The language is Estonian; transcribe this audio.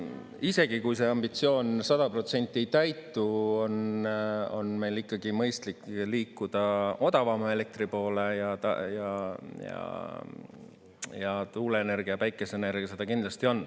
Isegi kui see ambitsioon 100% ei täitu, on meil ikkagi mõistlik liikuda odavama elektri poole, ja tuuleenergia, päikeseenergia seda kindlasti on.